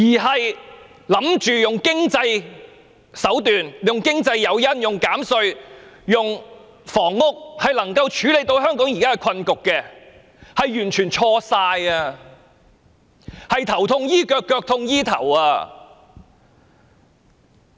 政府以為透過經濟手段、經濟誘因、減稅、興建房屋便能夠處理香港現在的困局，是完全錯誤的，這便是"頭痛醫腳，腳痛醫頭"。